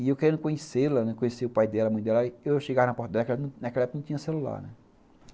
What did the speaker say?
E eu querendo conhecê-la, conhecer o pai dela, a mãe dela, eu chegava na porta dela, que naquela época não tinha celular, né.